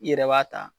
I yɛrɛ b'a ta